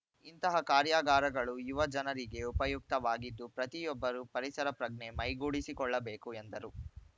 ಇಂತಹ ಕಾರ್ಯಾಗಾರಗಳು ಯುವ ಜನರಿಗೆ ಉಪಯುಕ್ತವಾಗಿದ್ದು ಪ್ರತಿಯೊಬ್ಬರೂ ಪರಿಸರ ಪ್ರಜ್ಞೆ ಮೈಗೂಡಿಸಿಕೊಳ್ಳಬೇಕು ಎಂದರು